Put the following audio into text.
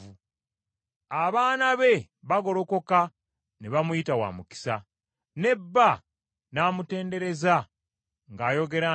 Abaana be bagolokoka ne bamuyita wa mukisa, ne bba n’amutendereza ng’ayogera nti,